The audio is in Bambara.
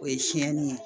O ye siyɛnni ye